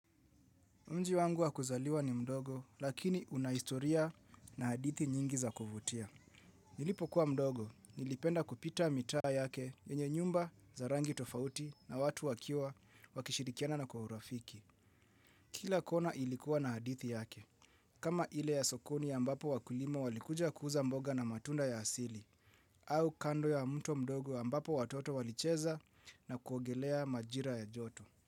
Mji wangu wakuzaliwa ni mdogo, lakini unahistoria na hadithi nyingi za kovutia. Nilipo kuwa mdogo, nilipenda kupita mitaa yake yenye nyumba za rangi tofauti na watu wakiwa wakishirikiana na kwa urafiki. Kila kona ilikuwa na hadithi yake. Kama ile ya sokoni ya ambapo wakulima walikuja kuuza mboga na matunda ya asili. Au kando ya mto mdogo ya ambapo watoto walicheza na kuogelea majira ya joto.